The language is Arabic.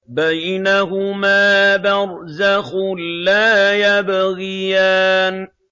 بَيْنَهُمَا بَرْزَخٌ لَّا يَبْغِيَانِ